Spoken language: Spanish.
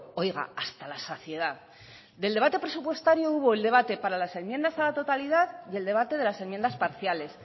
oiga hasta la saciedad del debate presupuestario hubo el debate para las enmiendas a la totalidad y el debate de las enmiendas parciales